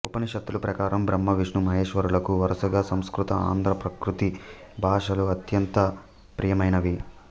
ఉపనిషత్తుల ప్రకారం బ్రహ్మ విష్ణు మహేశ్వరులకు వరుసగా సంస్కృత ఆంధ్ర ప్రాకృత భాషలు అత్యంత ప్రియమైనవి